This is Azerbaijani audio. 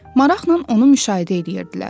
Maraqla onu müşahidə eləyirdilər.